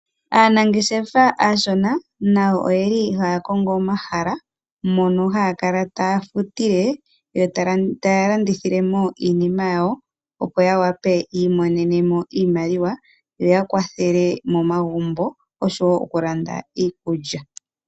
Aanangeshefa aashona nayo oyeli haya kongo omahala mono haya kala taya futile, yo taya landithilemo iinima yawo. Opo ya wape ya imonenemo iimaliwa, yo ya kwathele momagumbo oshowo okulanda iikulya.